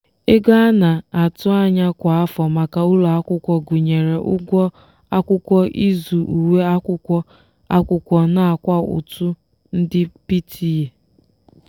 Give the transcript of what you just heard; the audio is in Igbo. ego a na-atụ anya kwa afọ maka ụlọakwụkwọ gụnyere ụgwọ akwụkwọ ịzụ uwe akwụkwọ akwụkwọ nakwa ụtụ ndị pta.